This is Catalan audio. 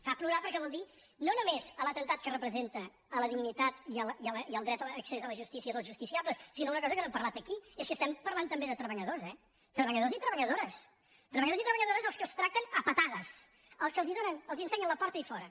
fa plorar perquè vol dir no només l’atemptat que representa a la dignitat i al dret a l’accés a la justícia dels justicia·bles sinó una cosa que no hem parlat aquí és que es·tem parlant també de treballadors eh treballadors i treballadores treballadors i treballadores als quals tracten a patades als quals els ensenyen la porta i fora